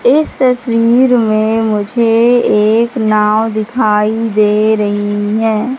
इस तस्वीर में मुझे एक नाव दिखाई दे रही है।